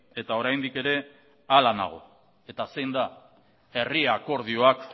eta oraindik ere horrela nago eta zen da herri akordioak